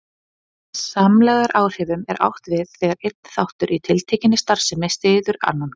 Með samlegðaráhrifum er átt við það þegar einn þáttur í tiltekinni starfsemi styður annan.